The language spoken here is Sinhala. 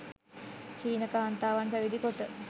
චීන කාන්තාවන් පැවිදි කොට